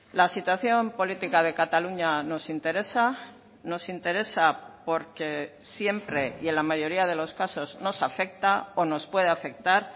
la situación política de cataluña nos interesa nos interesa porque siempre y en la mayoría de los casos nos afecta o nos puede afectar